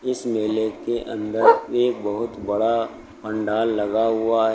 इस मेले के अंदर एक बहोत बड़ा पंडाल लगा हुआ--